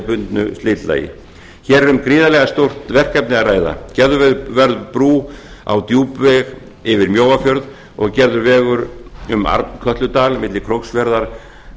bundnu slitlagi hér er um gríðarlega stórt verkefni að ræða gerð verður brú á djúpveg yfir mjóafjörð og gerður vegur um arnkötludal milli króksfjarðar